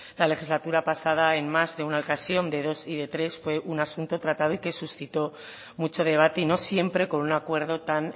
la legislatura pasada en más de una ocasión de dos y de tres fue un asunto tratado y que suscito mucho debate y no siempre con un acuerdo tan